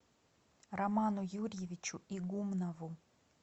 роману юрьевичу игумнову